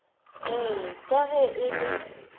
ee ka ge e le